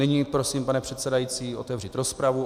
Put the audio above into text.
Nyní prosím, pane předsedající, otevřít rozpravu.